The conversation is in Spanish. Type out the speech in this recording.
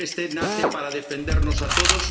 nace para defendernos a todos.